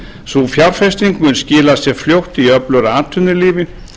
sú fjárfesting mun skila sér fljótt í öflugra atvinnulífi